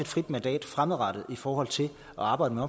frit mandat fremadrettet i forhold til at arbejde med